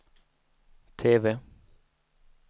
TV